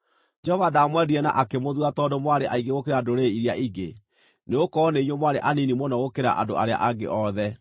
Jehova ndaamwendire na akĩmũthuura tondũ mwarĩ aingĩ gũkĩra ndũrĩrĩ iria ingĩ, nĩgũkorwo nĩ inyuĩ mwarĩ anini mũno gũkĩra andũ arĩa angĩ othe.